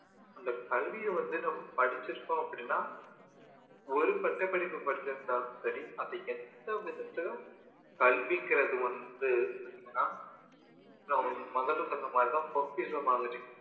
அந்த கல்வியை வந்து நம்ம படிச்சிருக்கோம் அப்படின்னா ஒரு பட்டப்படிப்பு படிச்சிருந்தாலும் சரி அது எந்த விதத்துலையும் கல்விங்கிறது வந்து பார்த்தீங்கன்னா நான் முதலில சொன்ன மாதிரி தான் பொக்கிஷம் மாதிரி